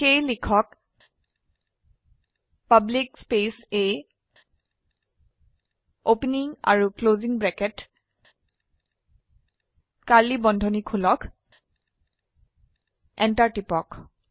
সেয়ে লিখক public space A opening আৰু ক্লোসিং ব্ৰেকেট কাৰ্ড়লী বন্ধনী খুলক Enter টিপক